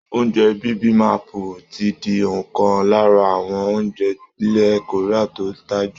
Oúnjẹ bibimapu ti di ọ̀kan lára àwọn oúnjẹ ilẹ̀ Korea tó ń tà jù